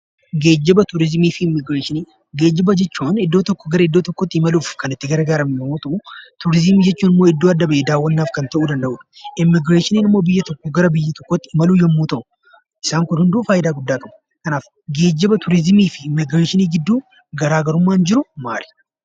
Geejjiba, Turiizimii fi Immigireeshinii: Geejjiba jechuun iddoo tokkoo gara iddoo biraatti imaluuf kan itti gargaaramnu yoo ta’u, turiizimii jechuun iddoo adda bahee daawwannaaf kan ta'udha, immigireeshiniin immoo biyya tokkoo gara biyya birootti imaluu yommuu ta'u, isaan kun hunduu faayidaa guddaa qabu. Kanaaf geejjiba, Turiizimii fi Immigireeshinii gidduu garaagarummaan jiru maali?